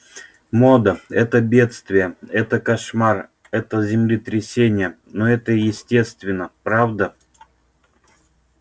мода это бедствие это кошмар это землетрясение но это естественно правда